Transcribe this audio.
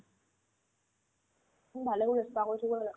ভালে কৰিছে spa কৰিছে কৰিব লাগে